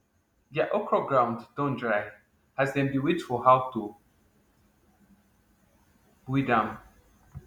deir okro ground don dry as dem dey wait for how to weed am